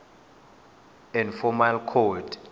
inf form coid